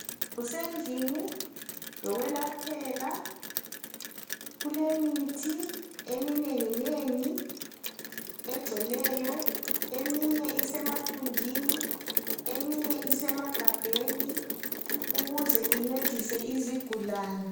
Kusendlini yokwelaphela kulemithi eminengi nengi egcweleyo eminye isemathunjini eminye isemagabheni ukuze incedise izigulane.